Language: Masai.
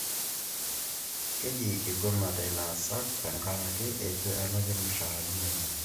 Keji igomate ilaasak tenkaraki eitu elaki irmushaarani lenye